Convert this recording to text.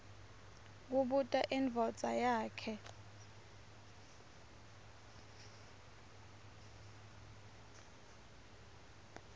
kubuta indvodza yakhe